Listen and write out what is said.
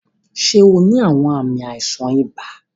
Ṣe o ni awọn aami aisan iba?